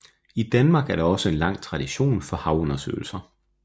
I Danmark er der også en lang tradition for havundersøgelser